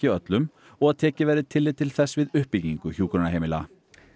öllum og að tekið verði tillit til þess við uppbyggingu hjúkrunarheimila